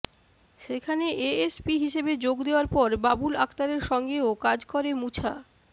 সেখানে এএসপি হিসেবে যোগ দেওয়ার পর বাবুল আক্তারের সঙ্গেও কাজ করে মুছা